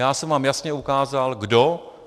Já jsem vám jasně ukázal kdo.